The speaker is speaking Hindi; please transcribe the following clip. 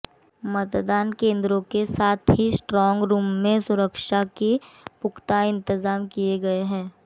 मतदान केंद्रों के साथ ही स्ट्रांग रूम में सुरक्षा के पुख्ता इंतजाम किए गए हैं